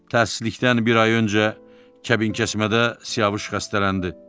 Təəssüflikdən bir ay öncə kəbinkəsmədə Siyavuş xəstələndi.